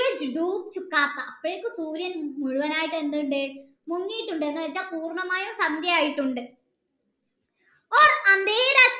അപ്പോഴേക്കും സൂര്യൻ മുഴുവനായിട്ട് എന്തുണ്ട് മുങ്ങീട്ടുണ്ട് പൂർണ്ണമായും സന്ധ്യ ആയിട്ടുണ്ട്